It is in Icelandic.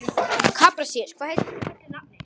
Kaprasíus, hvað heitir þú fullu nafni?